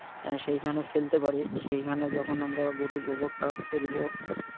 সেইখানে ফেলতে পারি, সেইখানে যখন আমরা গরুর গোবরটাও ফেলবো,